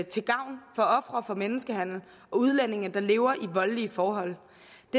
til gavn for ofre for menneskehandel og udlændinge der lever i voldelige forhold det